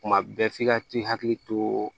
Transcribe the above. Kuma bɛɛ f'i ka t'i hakili to